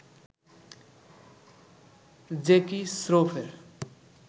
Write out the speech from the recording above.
Jackie স্রফের